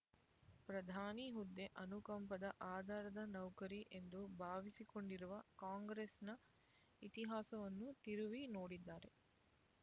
ಪ್ರಧಾನಿ ಹುದ್ದೆ ಅನುಕಂಪದ ಆಧಾರದ ನೌಕರಿ ಎಂದು ಭಾವಿಸಿಕೊಂಡಿರುವ ಕಾಂಗ್ರೆಸ್‍ನ ಇತಿಹಾಸವನ್ನು ತಿರುವಿ ನೋಡಿದರೇ